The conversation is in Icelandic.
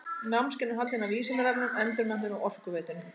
Námskeiðin eru haldin af Vísindavefnum, Endurmenntun og Orkuveitunni.